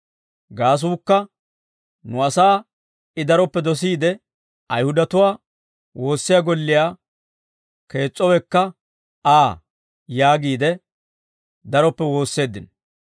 gaasuukka nu asaa I daroppe dosiide Ayihudatuwaa woossiyaa golliyaa kees'issowekka Aa» yaagiide daroppe woosseeddino.